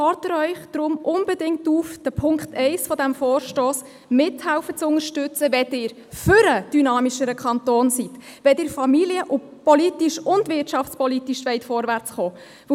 Ich fordere Sie deshalb unbedingt auf, Punkt 1 dieses Vorstosses zu unterstützen, wenn Sie für einen dynamischeren Kanton sind, wenn Sie familienpolitisch und wirtschaftspolitisch vorankommen wollen.